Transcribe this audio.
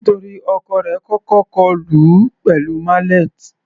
Nítorí ọkọ rẹ̀ kọ́kọ́ kọlù ú pẹ̀lú mallet.